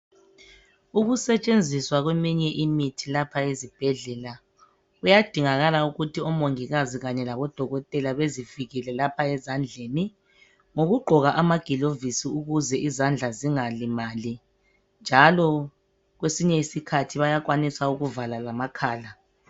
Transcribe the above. Ukusetshenziswa kweminye imithi lapha ezibhedlela kuyadingakala ukuthi omongikazi kanye labo dokotela bezivikele lapha ezandleni ngokugqoka amagilovisi ukuze izandla zingalimali njalo kwesinye isikhathi bayakwanisa ukuvala lamakhala.